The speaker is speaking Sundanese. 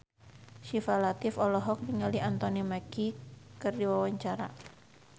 Syifa Latief olohok ningali Anthony Mackie keur diwawancara